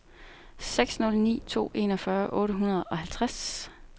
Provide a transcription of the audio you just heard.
seks nul ni to enogfyrre otte hundrede og halvtreds